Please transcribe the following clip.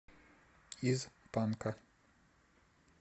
из панка